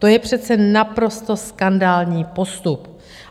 To je přece naprosto skandální postup!